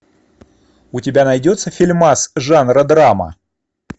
у тебя найдется фильмас жанра драма